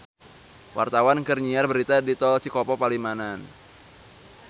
Wartawan keur nyiar berita di Tol Cikopo Palimanan